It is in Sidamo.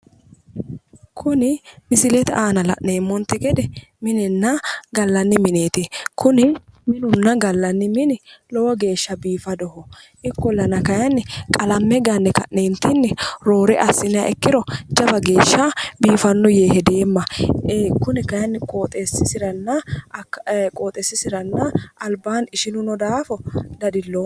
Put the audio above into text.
Kuni misilete aanna la'neemonte gede minenna gallanni mineeti kunni minunna gallanni minni loowo geesha biifadoho. ikkollanna kayinni, qalame ganne ka'neentinni roore asinniha ikiro jawa geesha biifano yee hedeemma kunni kayinni qooxeesisiranna albaanni ishinu noo daafo dadiloomma.